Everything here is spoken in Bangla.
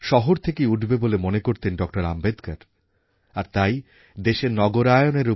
আজকে যখন সারা দেশেমেকইনইন্ডিয়াপ্রকল্প সাফল্যের সঙ্গে অগ্রসর হচ্ছে তখন তাঁর সেই স্বপ্ন দর্শিতাই আমাদের প্রেরণা